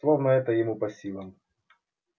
словно это ему по силам